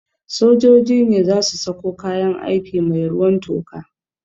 Sojoji ne za su sako kayan aiki mai ruwan toka